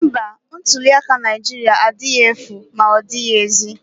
Mba, ntuliaka Naijiria adịghị efu ma ozighi ezi